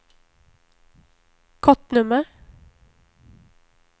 kortnummer